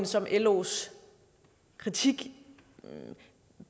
som los kritik